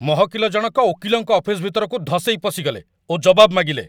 ମହକିଲ ଜଣକ ଓକିଲଙ୍କ ଅଫିସ ଭିତରକୁ ଧସେଇ ପଶିଗଲେ ଓ ଜବାବ ମାଗିଲେ!